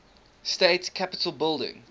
state capitol building